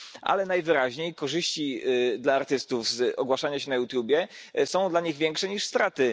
Ale najwyraźniej korzyści dla artystów z ogłaszania się na YouTube są dla nich większe niż straty.